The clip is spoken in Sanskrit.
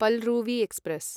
पलरुवी एक्स्प्रेस्